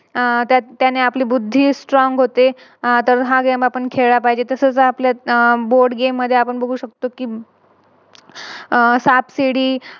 अह त्यानं त्यांन आपली बुद्धी Strong होते. आह तर हा Game आपण खेळला पाहिजे. तसेच आपल्या Board game मध्ये आपण बघू शकतो कि अह सापसिडी